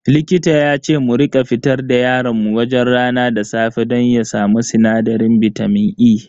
Likita yace mu rika fitar da yaron mu wajen rana da safe don ya samu sinadarin bitamin E.